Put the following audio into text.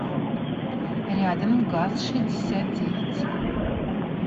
рядом газ шестьдесят девять